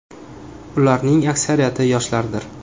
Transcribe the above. Ularning aksariyati yoshlardir.